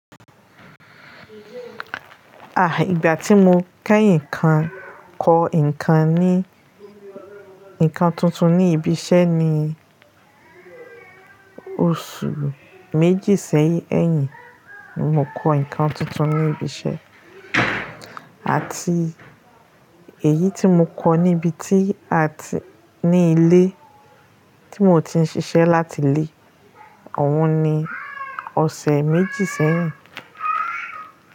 Ah, ìgbà tí mo kẹ́yìn kan kọ́ nǹkan ni, nnkan tuntun ní ibi iṣẹ́ ni oṣù méjì sẹ́yìn ẹyin, ni mo kọ́ nǹkan tuntun ní ibi iṣẹ́. Àti èyí tí mo kọ́ níbi tí a ti-- ní ilé tí mo ti ń ṣiṣẹ́ láti ilé, awon ni ọ̀sẹ̀ méjì sẹ́yìn.